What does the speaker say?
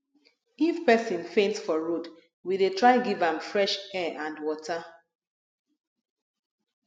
if pesin faint for road we dey try give am fresh air and water